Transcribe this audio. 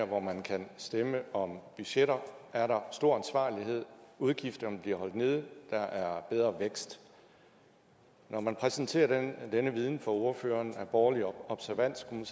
hvor man kan stemme om budgetter er der stor ansvarlighed udgifterne bliver holdt nede der er bedre vækst når man præsenterer denne viden for ordføreren af borgerlig observans kunne